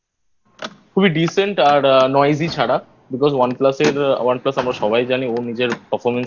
খুবই Decent আর Noisy ছাড়া Beacuse One Plus এর One Plus আমরা সবাই জানি ও নিজের Performance